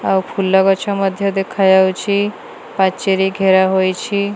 ଆଉ ଫୁଲ ଗଛ ମଧ୍ୟ ଦେଖା ଯାଉଛି ପାଚେରୀ ଘେରା ହୋଇଛି।